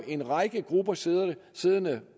en række grupper siddende siddende